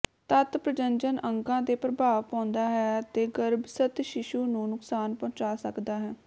ਤੱਤ ਪ੍ਰਜਨਨ ਅੰਗਾਂ ਤੇ ਪ੍ਰਭਾਵ ਪਾਉਂਦਾ ਹੈ ਅਤੇ ਗਰੱਭਸਥ ਸ਼ੀਸ਼ੂ ਨੂੰ ਨੁਕਸਾਨ ਪਹੁੰਚਾ ਸਕਦਾ ਹੈ